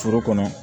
Foro kɔnɔ